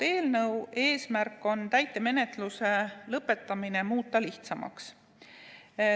Eelnõu eesmärk on muuta täitemenetluse lõpetamine lihtsamaks.